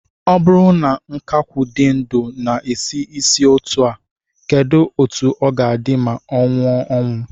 O buru na nkakwu di ndu na-esi isi otu a, keduzi otu o ga-adi ma o nwuo anwu?